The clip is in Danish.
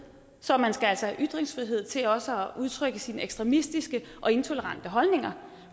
så man skal altså have ytringsfrihed til også at udtrykke sine ekstremistiske og intolerante holdninger